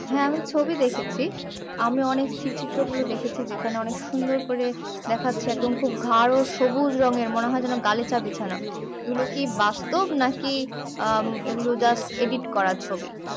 হ্যাঁ আমি ছবি দেখেছি আমি অনেক স্থির চিত্রগুলো দেখেছি যেখানে অনেক সুন্দর করে দেখাচ্ছে একদম খুব গারো সবুজ রঙের মনে হচ্ছে যেন গালিচা বিছানা এগুলো কি বাস্তব নাকি এগুলো just edit করা ছবি